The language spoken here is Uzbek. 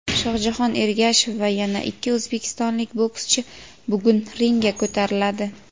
Shohjahon Ergashev va yana ikki o‘zbekistonlik bokschi bugun ringga ko‘tariladi.